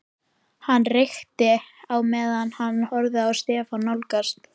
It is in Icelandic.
Hann reykti á meðan hann horfði á Stefán nálgast.